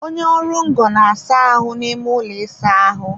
onye ọrụ ngo na-asa ahụ n'ime ụlọ ịsa ahụ